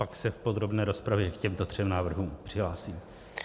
Pak se v podrobné rozpravě k těmto třem návrhům přihlásím.